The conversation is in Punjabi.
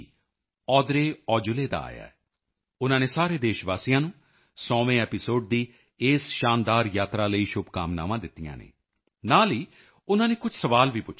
DG Audrey Azoulay Audrey Azoulay ਦਾ ਆਇਆ ਹੈ ਉਨ੍ਹਾਂ ਨੇ ਸਾਰੇ ਦੇਸ਼ਵਾਸੀਆਂ ਨੂੰ 100ਵੇਂ ਐਪੀਸੋਡ 100th ਐਪੀਸੋਡਜ਼ ਦੀ ਇਸ ਸ਼ਾਨਦਾਰ ਯਾਤਰਾ ਜਰਨੀ ਲਈ ਸ਼ੁਭਕਾਮਨਾਵਾਂ ਦਿੱਤੀਆਂ ਹਨ ਨਾਲ ਹੀ ਉਨ੍ਹਾਂ ਨੇ ਕੁਝ ਸਵਾਲ ਵੀ ਪੁੱਛੇ ਹਨ ਆਓ ਪਹਿਲਾਂ ਯੂਨੈਸਕੋ ਯੂਨੇਸਕੋ ਦੀ ਡੀ